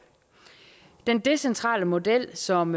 den decentrale model som